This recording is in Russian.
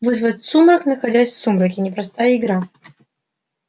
вызвать сумрак находясь в сумраке непростая игра